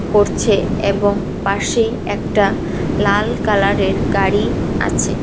করছে এবং পাশে একটা লাল কালারের গাড়ি আছে।